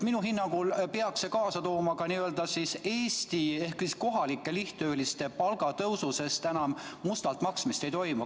Minu hinnangul peaks see kaasa tooma ka Eesti ehk kohalike lihttööliste palgatõusu, sest enam mustalt maksmist ei toimu.